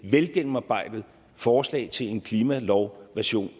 velgennemarbejdet forslag til en klimalov version